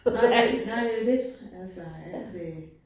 Nej, nej det jo det, altså at øh